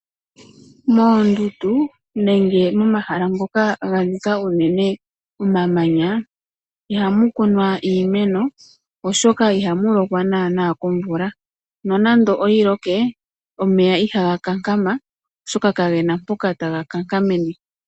Moondundu nenge momahala ngoka ga nika unene omamanya ihamu kunwa iimeno, oshoka ihamu lokwa naana komvula, nonande oyi loke, omeya ihaga kankama oshoka ka gena mpoka taga kankamene.